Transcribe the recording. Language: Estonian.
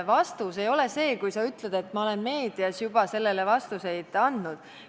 Vastus ei ole see, kui sa ütled, et ma olen meedias juba sellele vastuseid andnud.